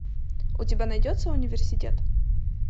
у тебя найдется университет